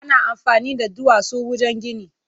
Ana amfani da duwatsu wajen gini.